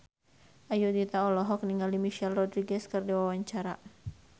Ayudhita olohok ningali Michelle Rodriguez keur diwawancara